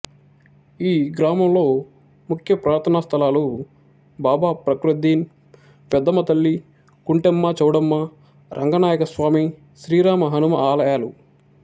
ఈ గ్రామంలో ముఖ్య ప్రార్థనా స్థలాలు బాబా ఫ్రక్రుద్ధీన్ పెద్దమ్మ తల్లి కుంటెమ్మ చౌడమ్మ రంగనాయకస్వామి శ్రీరామ హనుమ ఆలయాలు